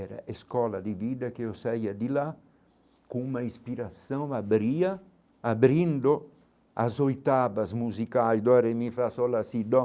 Era escola de vida que eu saía de lá, com uma inspiração abria abrindo as oitavas musicais dó ré mi fá sol lá si dó.